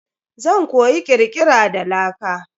Zan koyi kirkira da laka.